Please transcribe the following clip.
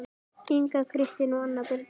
Inga Kristín og Anna Birna